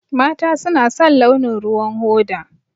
Mata suna son launin ruwan hoda.